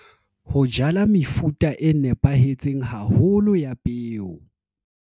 Ho jala mefuta e nepahetseng haholo ya peo.